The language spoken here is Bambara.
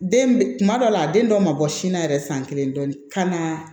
Den kuma dɔw la a den dɔw ma bɔ sin na yɛrɛ san kelen dɔɔnin kan na